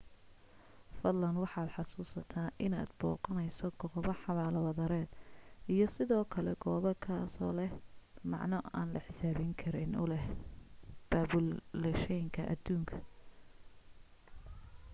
fadlan waxaad xasuusnaataa inaad booqanayso goobo xabaalo wadareed iyo sidoo kale goob kazoo leh macno aan la xisaabi karin u leh baabulayshanka aduunka